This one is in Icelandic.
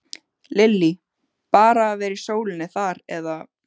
Lillý: Bara að vera í sólinni þar eða?